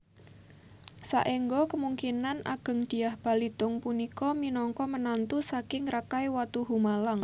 Saengga kemungkinan agengDyah Balitung punika minangka menantu saking Rakai Watuhumalang